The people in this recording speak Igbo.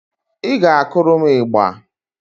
Ị ga-akụrụ m ịgbà